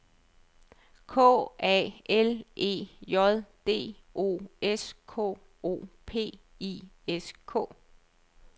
K A L E J D O S K O P I S K